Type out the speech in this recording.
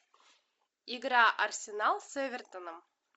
игра арсенал с эвертоном